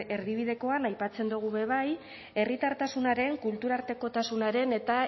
erdibidekoan aipatzen dugu be bai herritartasunaren kulturartekotasunaren eta